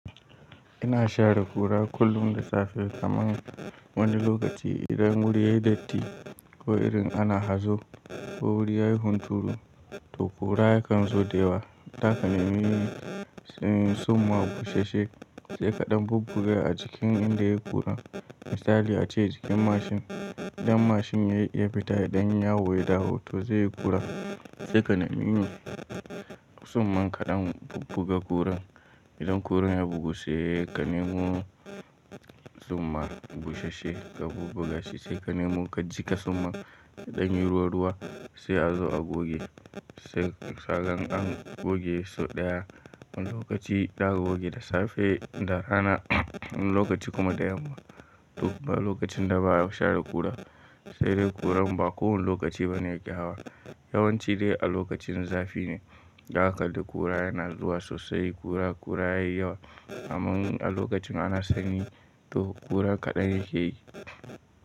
Ina share kura kullum da safe kamar wani lokaci idan wuri yayi datti ko irin ana hazo ko wuri yayi hunturu to kura yakan zo da wa. Daka nemi in summan busasshe sai kaɗan bubbuga a jikin inda yayi ƙura. Misali ace jikin mashin idan mashin ya yi fita ya ɗan yi yawo ya dawo to zai yi ƙura sai ka nemi summan kaɗan bubbuga ƙuran. Idan ƙuran ya bugu sai ka nemo summan bushashe ka bubbuga shi sai ka nemo ka jiƙa summan idan yayi ruwa-ruwa sai a zo a goge. Sai kagan an goge sau ɗaya wani lokaci za a goge da safe, da rana, wani lokaci kuma da yamma. Duk ba lokacin da ba a share ƙura sai dai ƙuran ba kowane lokaci ba ne yake hawa. Yawanci dai a lokacin zafi ne da akalli ƙura yana zuwa sosai ƙura ƙura yayi yawa. Amma a lokacin ana sanyi to ƙura kaɗan yake yi.